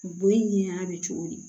Bon in ɲɛ a bɛ cogo di